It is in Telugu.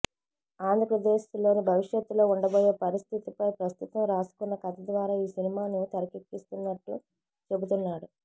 ఆంధ్రప్రదేశ్లో భవిష్యత్తులో ఉండబోయే పరిస్థితిపై ప్రస్తుతం రాసుకున్న కథ ద్వారా ఈ సినిమాను తెరకెక్కిస్తున్నట్లు చెబుతున్నాడు